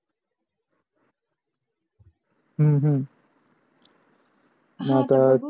हम्म हम्म आता